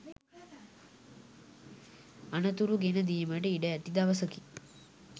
අනතුරු ගෙන දීමට ඉඩ ඇති දවසකි.